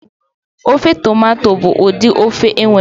Ofe tomato bụ ụdị ofe e nwere.